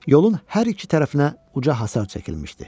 Yolun hər iki tərəfinə uca hasar çəkilmişdi.